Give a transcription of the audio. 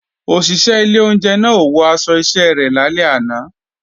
Òṣìṣẹ́ ilé oúnjẹ náà ò wọ aṣọ iṣẹ́ rẹ̀ lálẹ́ àná